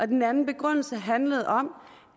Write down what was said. den anden begrundelse handlede om